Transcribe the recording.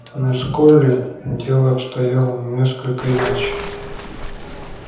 но с колли дело обстояло несколько иначе